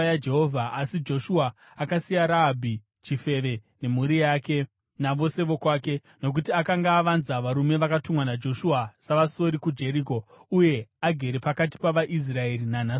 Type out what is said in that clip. Asi Joshua akasiya Rahabhi chifeve, nemhuri yake navose vokwake, nokuti akanga avanza varume vakatumwa naJoshua savasori kuJeriko, uye agere pakati pavaIsraeri nanhasi uno.